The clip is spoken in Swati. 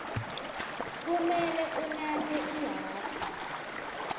kumele unatse ihhafu